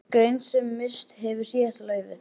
Grein sem misst hefur síðasta laufið.